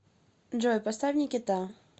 джой поставь никита